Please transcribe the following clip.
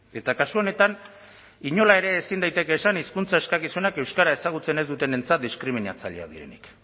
eta kasu honetan inola ere ezin daiteke esan hizkuntza eskakizunak euskara ezagutzen ez dutenentzat diskriminatzaileak direnik